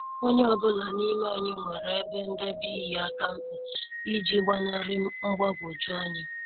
Onye ọ bụla n'ime anyị nwere ebe ndebe ihe akamkpa iji gbanari mgbagwoju anya.